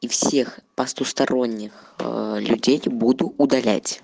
и всех пастусторонних людей буду удалять